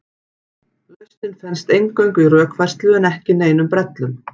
Lausnin felst eingöngu í rökfærslu en ekki neinum brellum.